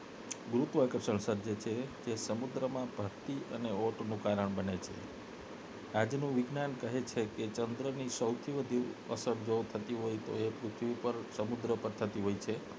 ગુરુત્વાકર્ષણ સર્જે છે જે સમુદ્રમાં ભરતી અને ઓટ નું કારણ બને છે આજ નું વિજ્ઞાન કહે છે કે ચંદ્રની સૌથી વધુ અસર થતી હોય તો એ પૃથ્વી પર સમુદ્ર પર થતી હોય છે